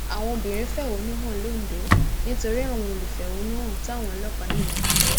àwọn obìnrin fẹhónú hàn londo nítorí àwọn olùfẹhónúhàn táwọn ọlọpàá yìnbọn pa